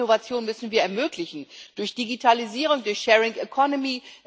Diese Innovationen müssen wir ermöglichen durch Digitalisierung, durch sharing economy